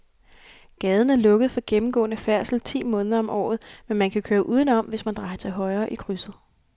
Gaden er lukket for gennemgående færdsel ti måneder om året, men man kan køre udenom, hvis man drejer til højre i krydset.